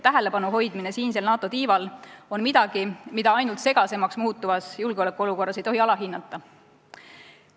Tähelepanu hoidmine siinsel NATO tiival on midagi, mida ainult segasemaks muutuvas julgeolekuolukorras ei tohi alahinnata.